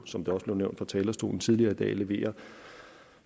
som det også blev nævnt fra talerstolen tidligere i dag leverer